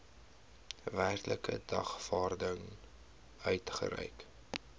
werklike dagvaarding uitgereik